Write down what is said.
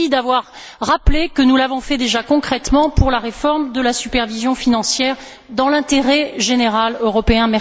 Merci d'avoir rappelé que nous l'avons déjà fait concrètement pour la réforme de la supervision financière, dans l'intérêt général européen.